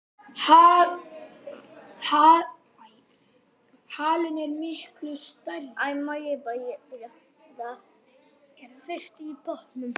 Fyrstur í pontu.